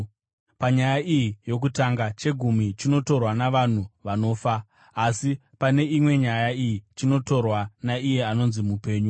Panyaya iyi yokutanga, chegumi chinotorwa navanhu vanofa; asi pane imwe nyaya iyi chinotorwa naiye anonzi mupenyu.